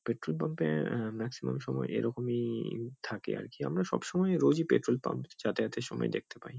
Petrol pump -এ আ maximum সময় এরকমইইই থাকে আর কি আমরা সবসময় রোজই পেট্রোল পাম্প যাতায়াতের সময় দেখতে পাই।